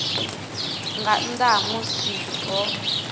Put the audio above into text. nga nnḓa ha musi ho